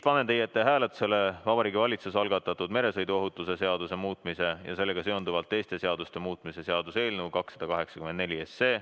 Panen hääletusele Vabariigi Valitsuse algatatud meresõiduohutuse seaduse muutmise ja sellega seonduvalt teiste seaduste muutmise seaduse eelnõu 284.